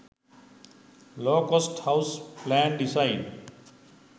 low cost house plan design